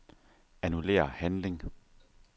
Annullér handling.